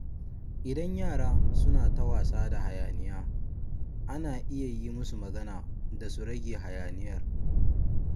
Idan yara suna ta wasa da hayaniya, ana iya yi musu magana da su rage hayaniyar.